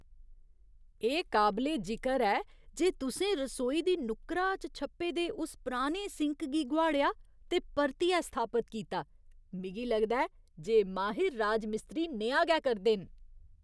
एह् काबले जिकर ऐ जे तुसें रसोई दी नुक्करा च छप्पे दे उस पराने सिंक गी गोहाड़ेआ ते परतियै स्थापत कीता। मिगी लगदा ऐ जे माहिर राजमिस्त्री नेहा गै करदे न।